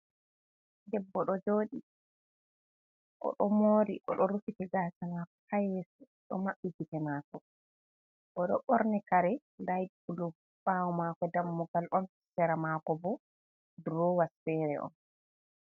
Debbo do joɗi, odo mori, o do rufiti gasa mako hayeso do maɓɓi gite mako, o do ɓorni kare laybulu ɓawo mako dammugal on, sera mako bo durowas fere on.